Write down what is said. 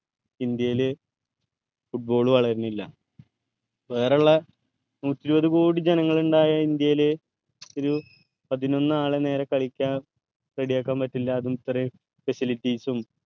ഇന്ത്യേൽ football വളരണില്ല വേറെള്ള നൂറ്റിഇരുപത് കോടി ജനങ്ങൾ ഇണ്ടായ ഇന്ത്യേൽ ഒരു പതിനൊന്ന് ആളെ നേരെ കളിക്കാൻ ready പറ്റില്ല അതും ഇത്രേം facilities ഉം